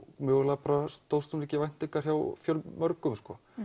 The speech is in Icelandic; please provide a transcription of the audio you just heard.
mögulega stóðst hún ekki væntingar hjá fjölmörgum